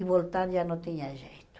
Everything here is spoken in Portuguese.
E voltar já não tinha jeito.